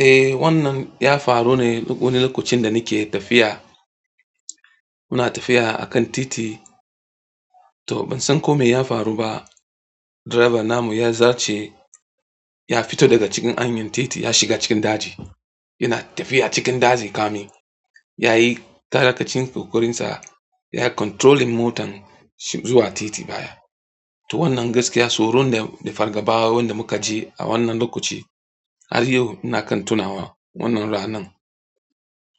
Eh, wannan ya faru ne wani lokacin da nike tafiya. Ina tafiya akan titi to bansan ko meya faru ba drivern namu ya zarce ya fita daga cikin hanyan titi ya shiga cikin daji yana tafiya cikin daji kamin yayi iyakacin ƙoƙarin sa yayi controlling motan zuwa titi to wannan gaskiya tsoron da fargaba wanda mukaji a wannan lokaci har yau ina kan tunawa wannan ranan.